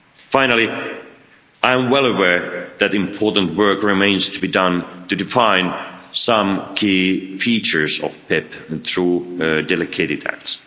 EU. Finally, I am well aware that important work remains to be done to define some key features of the PEPP, through delegated acts.